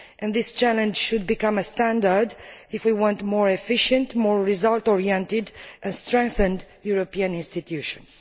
This challenge should become standard if we want more efficient, more result oriented and strengthened European institutions.